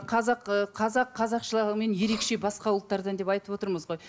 қазақ ыыы қазақ қазақшылығымен ерекше басқа ұлттардан деп айтып отырмыз ғой